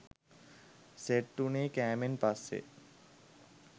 set වුණේ කෑමෙන් පස්සෙ